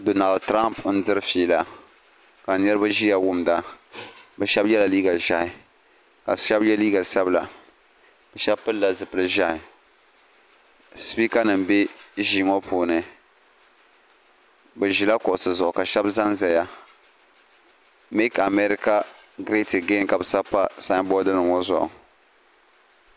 Donal Tramp n diri feela ka niriba ziya wumida bi shɛba ye la liiga ʒɛhi ka shɛba ye liiga sabila shɛba pili la zipiligu zɛhi sipeka nima bɛ ziiŋɔ puuni bi zila kuɣisi zuɣu ka shɛba za n zaya meeki America grati ɛgani ka bi sabi pa sanboori nima ŋɔ zuɣu.